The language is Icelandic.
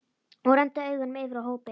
Og renndi augunum yfir á hópinn.